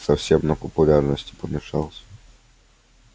совсем на популярности помешался